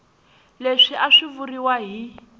leswi a swi vuriwa hi